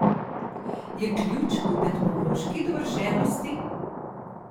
Je ključ v tehnološki dovršenosti?